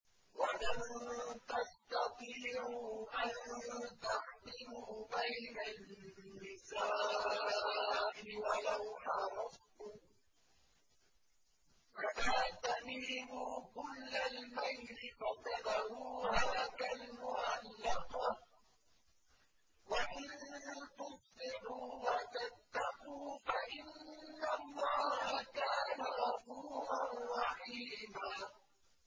وَلَن تَسْتَطِيعُوا أَن تَعْدِلُوا بَيْنَ النِّسَاءِ وَلَوْ حَرَصْتُمْ ۖ فَلَا تَمِيلُوا كُلَّ الْمَيْلِ فَتَذَرُوهَا كَالْمُعَلَّقَةِ ۚ وَإِن تُصْلِحُوا وَتَتَّقُوا فَإِنَّ اللَّهَ كَانَ غَفُورًا رَّحِيمًا